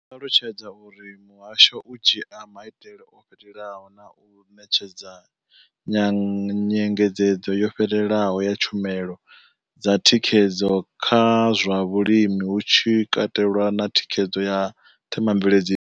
Vho ṱalutshedza uri muhasho u dzhia maitele o fhelelaho na u ṋetshedza nyengedzedzo yo fhelelaho ya tshumelo dza thikhedzo kha zwa vhulimi, hu tshi katelwa na thikhedzo ya themamvele.